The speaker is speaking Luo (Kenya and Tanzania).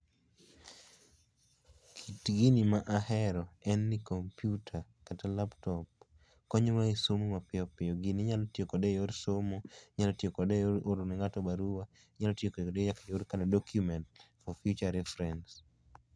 kit gini ma ahero en ni computer kata laptop konyo wa e somo mapiyo piyo ,gini inyalo tiyo kode e somo ,inyalo tiyo kode e oro ne ng'ato barua inyalo tiyo kode nyaka eyor oro documents for future reference.